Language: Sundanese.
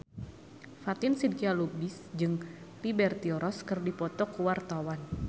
Fatin Shidqia Lubis jeung Liberty Ross keur dipoto ku wartawan